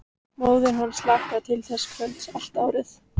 Móðir hans hlakkaði til þessa kvölds allt árið.